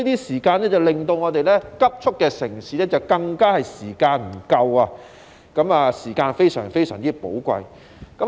時間減少了，令生活節奏急速的城市人的時間更加不夠，時間變得非常寶貴。